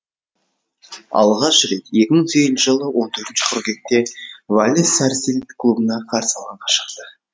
алғаш рет екі мың сегізінші жылы он төртінші қыркүйекте валес сарсилд клубына қарсы алаңға шықты